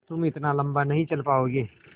तुम इतना लम्बा नहीं चल पाओगे